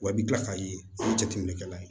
Wa i bɛ kila k'a ye o ye jateminɛkɛla ye